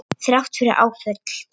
Þrátt fyrir áföll.